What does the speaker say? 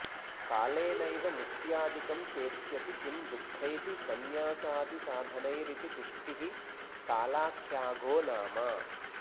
कालेनैव मुक्त्यादिकं सेत्स्यति किं दुःखैः संन्यासादिसाधनैरिति तुष्टिः कालाख्याऽघो नाम